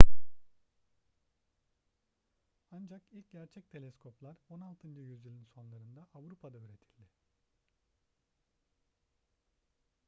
ancak ilk gerçek teleskoplar 16. yüzyılın sonlarında avrupa'da üretildi